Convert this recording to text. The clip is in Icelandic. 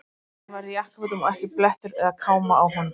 Hann var í jakkafötum og ekki blettur eða káma á honum.